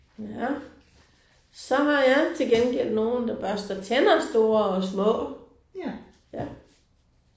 Ja. Så har jeg til gengæld nogle der børster tænder store og små. Ja